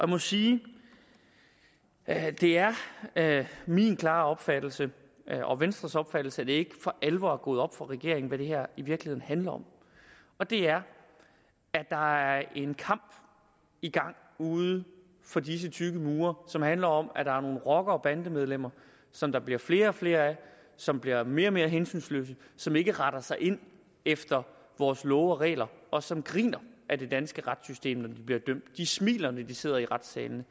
må sige at det er min klare opfattelse og venstres opfattelse at det ikke for alvor er gået op for regeringen hvad det her i virkeligheden handler om og det er at der er en kamp i gang uden for disse tykke mure som handler om at der er nogle rockere og bandemedlemmer som der bliver flere og flere af som bliver mere og mere hensynsløse som ikke retter ind efter vores love og regler og som griner ad det danske retssystem når de bliver dømt de smiler når de sidder i retssalene